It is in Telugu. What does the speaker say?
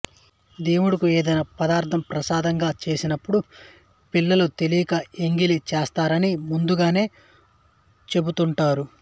దేవుడుకు ఎదైనా పదార్థం ప్రసాదంగా చేసినప్పుడు పిల్లలు తెలియక ఎంగిలి చేస్తారని ముందుగానే చెపుతుంటారు